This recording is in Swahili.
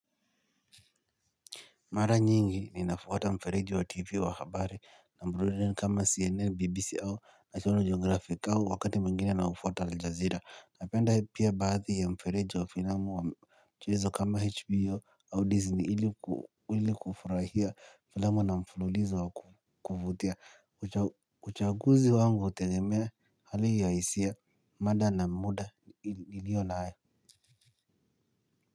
Mara nyingi ninafwata mfereji wa tv wa habari na burudani kama cnn bbc au national geografi au wakati mwngine nau fwata aljazira napenda pia baadhi ya mfereji wa filamu wa mchulizo kama hbo au disney ili kufurahia filamu na mfululizo wa kuvutia uchaguzi wangu hutegemea hali ya hisia mada na muda iliyo nayo.